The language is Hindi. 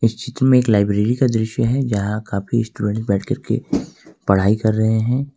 इस चित्र में एक लाइब्रेरी का दृश्य है जहां काफी स्टूडेंट बैठकरके पढ़ाई कर रहे हैं।